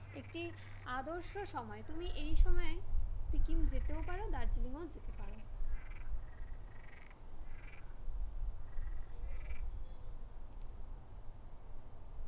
একটি আদর্শ সময় তুমি এই সময়ে, সিকিম যেতেও পারো দার্জিলিং ও যেতে পারো